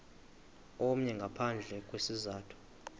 omnye ngaphandle kwesizathu